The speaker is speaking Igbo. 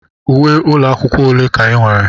Uwe ụlọ akwụkwọ ole ka ị nwere?